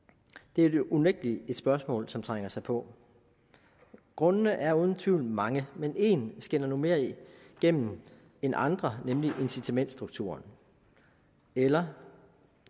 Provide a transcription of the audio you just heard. det er jo unægtelig et spørgsmål som trænger sig på grundene er uden tvivl mange men én skinner nu mere igennem end andre nemlig incitamentsstrukturen eller